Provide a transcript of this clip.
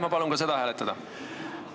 Ma palun ka seda hääletada!